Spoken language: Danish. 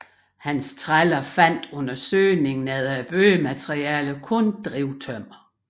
Hans træller fandt under søgningen efter byggematerialer kun drivtømmer